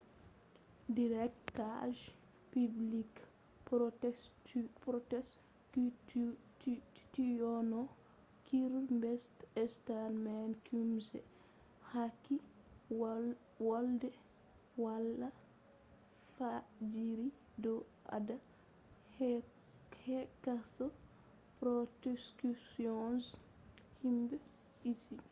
directa je public prosecutiono kierstarmerqc hokki volde hala fajjiri do odo yecca prosecution je huhne be pryce